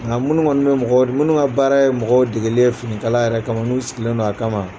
Nka minnu kɔni bɛ mɔgɔw ka baara yɛrɛ ye mɔgɔ degeli ye finikala yɛrɛ n'u sigilen don a kama